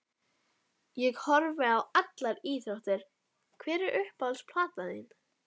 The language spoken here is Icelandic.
Ég horfi á allar íþróttir Hver er uppáhalds platan þín?